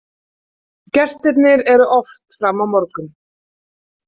Gestirnir eru oft fram á morgun.